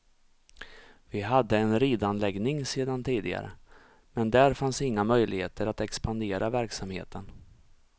Vi hade en ridanläggning sedan tidigare, men där fanns inga möjligheter att expandera verksamheten.